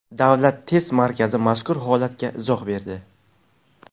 Davlat test markazi mazkur holatga izoh berdi .